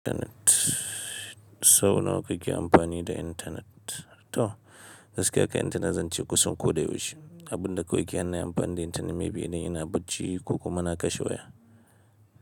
Internet, sau nawa kake amfani da internet? To, gaskiya kam internet zan ce kusan koyaushe. Abun da kawai kehana nai amfani da internet maybe idan ina bacci ko kuma na kashe waya.